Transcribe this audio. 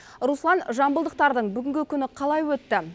руслан жамбылдықтардың бүгінгі күні қалай өтті